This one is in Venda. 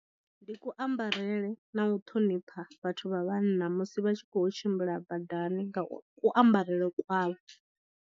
Ndi kuambarele na u ṱhonipha vhathu vha vhanna musi vha tshi khou tshimbila badani nga ku ambarele kwavho.